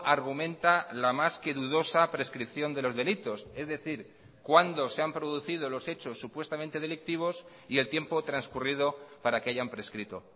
argumenta la más que dudosa prescripción de los delitos es decir cuándo se han producido los hechos supuestamente delictivos y el tiempo transcurrido para que hayan prescrito